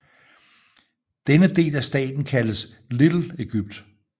Denne del af staten kaldes Little Egypt